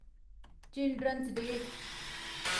children's day